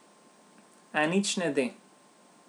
A nič ne de.